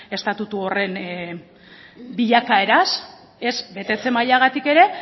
estatutu horren bilakaeraz ez betetze mailagatik ere